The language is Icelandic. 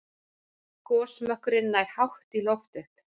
Gosmökkurinn nær hátt í loft upp.